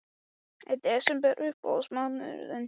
Lillý, var verkfallsboðun samþykkt með miklum meirihluta?